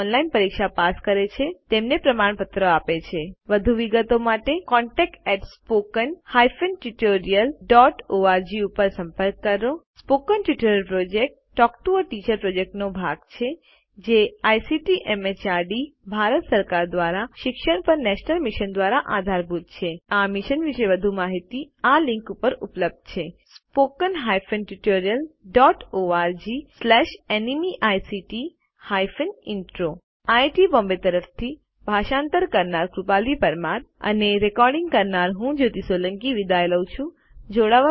જેઓ ઓનલાઇન પરીક્ષા પાસ કરે છે તેમને પ્રમાણપત્રો આપે છે વધુ વિગતો માટે contactspoken tutorialorg ઉપર સંપર્ક કરો spoken tutorial project talk to a teacher પ્રોજેક્ટનો ભાગ છે જે આઇસીટી એમએચઆરડી ભારત સરકાર દ્વારા શિક્ષણ પર નેશનલ મિશન દ્વારા આધારભૂત છે આ મિશન વિશે વધુ માહીતી આ લીંક ઉપર ઉપલબ્ધ છે spoken hyphen tutorial dot org slash nmeict hyphen intro IIT Bombay તરફથી ભાષાંતર કરનાર હું કૃપાલી પરમાર વિદાય લઉં છું